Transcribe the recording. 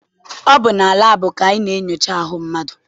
Ọ bụ na laabụ ka a na-enyocha ahụ mmadụ.